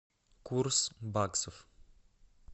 курс баксов